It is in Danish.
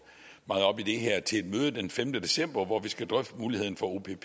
meget op i det her til et møde den femte december hvor vi skal drøfte muligheden for opp i